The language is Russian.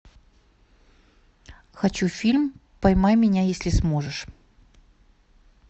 хочу фильм поймай меня если сможешь